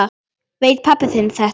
Veit pabbi þinn þetta?